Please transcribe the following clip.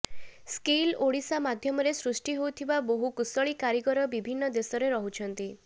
skill Odisha ମାଧ୍ୟମରେ ସୃଷ୍ଟି ହୋଇଥିବା ବହୁ କୁଶଳୀ କାରୀଗର ବିଭିନ୍ନ ଦେଶରେ ରହୁଛନ୍ତି